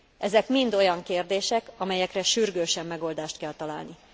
Ezek mind olyan kérdések, amelyekre sürgősen megoldást kell találni.